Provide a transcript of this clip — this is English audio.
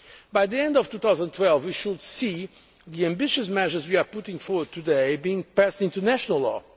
By the end of 2012, we should see the ambitious measures we are putting forward today being passed into national law.